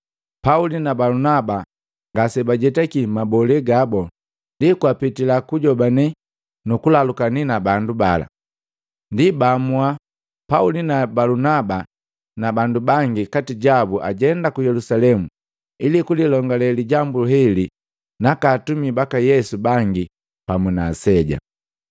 Pauli na Balunaba ngase bajetaki mabole gabo ndi kwapitila kujobane nukulalukani na bandu bala, ndi baamua Pauli na Balunaba na bandu bangi kati jabu ajenda ku Yelusalemu ili kulilongale lijambu heli naka atumi baka Yesu bangi pamu na Aseja.